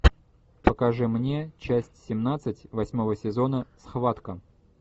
покажи мне часть семнадцать восьмого сезона схватка